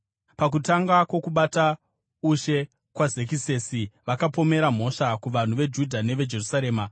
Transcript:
Pakutanga kwokubata ushe kwaZekisesi vakapomera mhosva kuvanhu veJudha neveJerusarema.